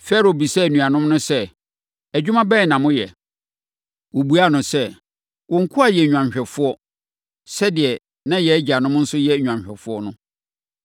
Farao bisaa anuanom no sɛ, “Adwuma bɛn na moyɛ?” Wɔbuaa no sɛ, “Wo nkoa yɛ nnwanhwɛfoɔ, sɛdeɛ na yɛn agyanom nso yɛ nnwanhwɛfoɔ no.”